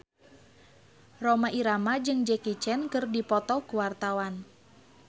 Rhoma Irama jeung Jackie Chan keur dipoto ku wartawan